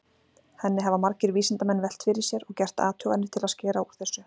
Henni hafa margir vísindamenn velt fyrir sér og gert athuganir til að skera úr þessu.